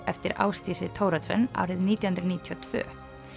eftir Ásdísi Thoroddsen árið nítján hundruð níutíu og tvö